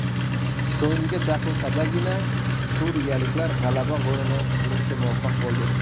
So‘nggi daqiqadagina suriyaliklar g‘alaba golini urishga muvaffaq bo‘ldi.